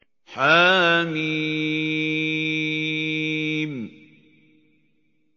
حم